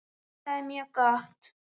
Það er mjög gott.